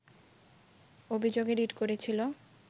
অভিযোগে রিট করেছিল